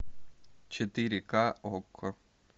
четыре к окко